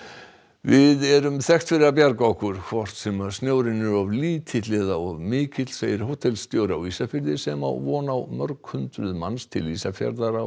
við erum þekkt fyrir að bjarga okkur hvort sem snjórinn er of lítill eða mikill segir hótelstjóri á Ísafirði sem á von á mörg hundruð manns til Ísafjarðar á